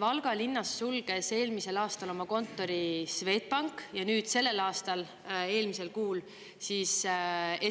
Valga linnas sulges eelmisel aastal oma kontori Swedbank ja nüüd sellel aastal eelmisel kuul siis